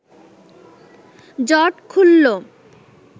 জট খুলল